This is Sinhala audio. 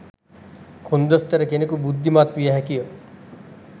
කොන්දොස්තර කෙනෙකු බුද්ධිමත් විය හැකිය.